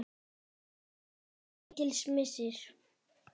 Það var mikill missir.